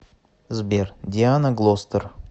сбер диана глостер